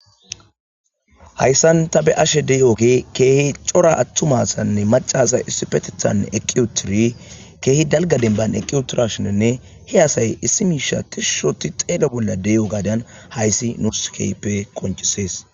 hayssan ta be ashe de7oke keehi cora attumasanne macasa issipetethan eqiyutiri keehi dalga denban eqiyutirashionenne he asay issi miisha tishushoti xeeda bolla de7o gaadan hayssi nurskeype konchisees